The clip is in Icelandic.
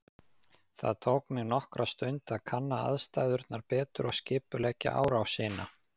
Það tók mig nokkra stund að kanna aðstæðurnar betur og skipuleggja árásina.